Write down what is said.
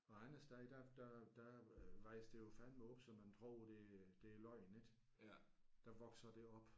Og andre steder der der der øh vokser det jo fandeme op så man tror det det er løgn ik. Der vokser det op